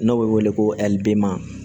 N'o bɛ wele ko